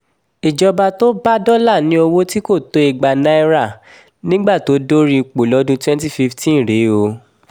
ìjọba tó bá dọ́là ní owó tí kò tó igba naira nígbà tó dorí ipò lọ́dún twenty fifteen rèé o